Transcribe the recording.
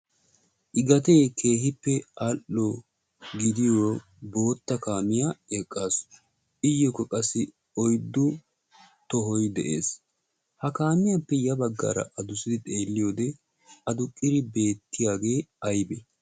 igatee keehippe al77o gidiyo bootta kaamiyaa eqqaasu. iyyookko qassi oiddu tohoi de7ees. ha kaamiyaappe ya baggaara adusidi xeelli wode aduqqiri beettiyaagee aibee?